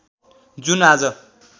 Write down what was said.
जुन आज